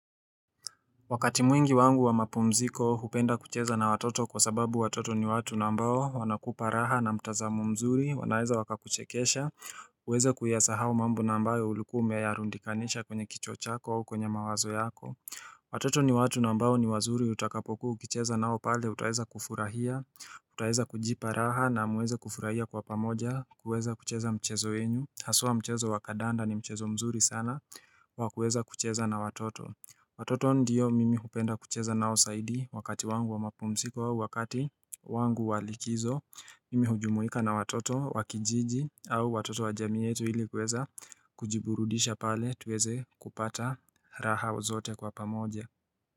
Wakati mwingi wangu wa mapumziko hupenda kucheza na watoto kwa sababu watoto ni watu na ambao wanakupa raha na mtazamo mzuri, wanaweza wakakuchekesha, huweza kuyasahau mambo na ambayo ulikuwa umeyarundikanisha kwenye kichwa chako, kwenye mawazo yako Watoto ni watu na ambao ni wazuri utakapokuwa ukicheza nao pale utaweza kufurahia, utaweza kujipa raha na muweze kufurahia kwa pamoja, kuweza kucheza mchezo yenyu. Haswa mchezo wa kandanda ni mchezo mzuri sana wa kuweza kucheza na watoto Watoto ndiyo mimi hupenda kucheza nao zaidi wakati wangu wa mapumziko au wakati wangu wa likizo, mimi hujumuika na watoto wa kijiji au watoto wa jamii yetu ili kuweza kujiburudisha pale tuweze kupata raha zote kwa pamoja.